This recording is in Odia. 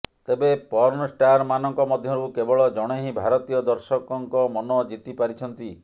ତେବେ ପର୍ଣ୍ଣ ଷ୍ଟାର୍ ମାନଙ୍କ ମଧ୍ୟରୁ କେବଳ ଜଣେ ହିିଁ ଭାରତୀୟ ଦର୍ଶକଙ୍କ ମନ ଜିତି ପାରିଛନ୍ତି